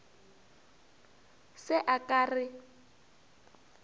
se a ka a re